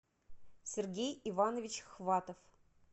сергей иванович хватов